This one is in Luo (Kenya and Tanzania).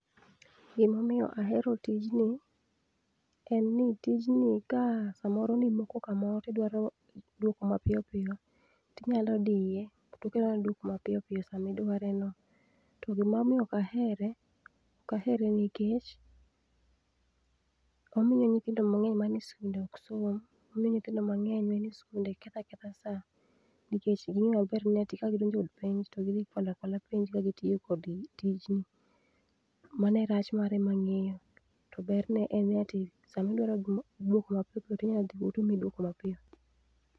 Gimomiyo ahero tijni, en ni tijni ka samoro ni moko kamoro tidwaro duoko mapiyopiyo, tinyalo diye, tokelo ni duoko mapiyopiyo sama idware no. To gima omiyo ok ahere, okahere nikech, omiyo nyithindo mang'eny manie skunde oksom. Omiyo nyithindo mang'eny manie skunde ketho aketha sa nikech ging'eyo maber ni ati ka gidonjo e od penj to gidhi kwalo akwala penj ka gitiyo kod tijni. Mano e rach mare ma ang'eyo. To ber ne en ni ati sama idwaro duoko mapiyopiyo tinya dhi tomiyi duoko mapiyo.